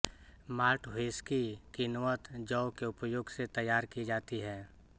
malt whisky किण्वत जौ के उपयोग से तैयार की जाती है